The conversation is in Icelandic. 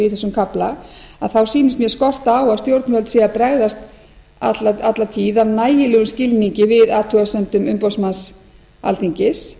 í þessum kafla að þá sýnist mér skorta á að stjórnvöld séu að bregðast alla tíð af nægilegum skilningi við athugasemdum umboðsmanns alþingis